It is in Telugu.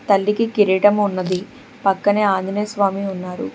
తల్లికి కిరీటం ఉన్నది పక్కనే ఆంజనేయ స్వామి ఉన్నారు.